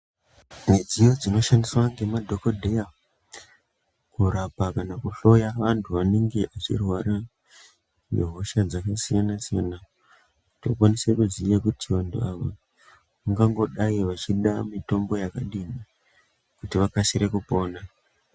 Midziyo dzinoshandiswa nemadhokodheya kurapa kana kuhloya vantu vanenge vachirwara nehosha dzakasiyana siyana tinokwanisa kuziya vantu ava vangangodai vachida mutombo yakadini kuti vakasire kupona.